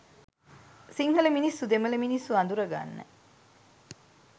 සිංහල මිනිස්සු දෙමළ මිනිස්සු අඳුරගන්න.